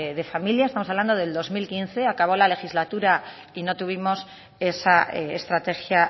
de familia estamos hablando del dos mil quince acabó la legislatura y no tuvimos esa estrategia